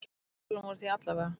Samtölin voru því alla vega.